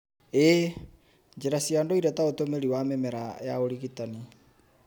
ĩĩ, njĩra cia ndũire ta ũtũmĩri wa mĩmera ya ũrigitani